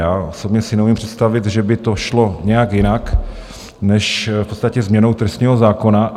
Já osobně si neumím představit, že by to šlo nějak jinak než v podstatě změnou trestního zákona.